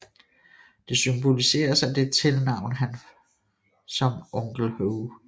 Det symboliseres af det tilnavn han som Onkel Ho